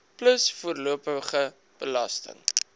plus voorlopige belasting